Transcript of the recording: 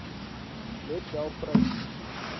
let wel pryse